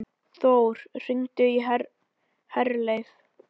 Þór, hringdu í Herleif.